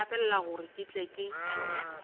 nthapelele gore ke tle ke